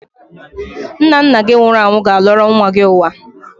Nna nna gị nwụrụ anwụ ga-alọrọ nwa gị ụwa.